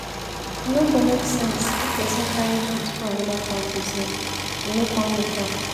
E no go make sense if pesin carry goods go anoda country sell e no come make am.